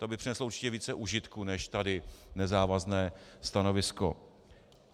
To by přineslo určitě více užitku než tady nezávazné stanovisko.